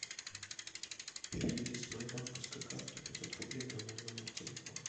переведи с моей банковской карты пятьсот рублей на мой номер телефона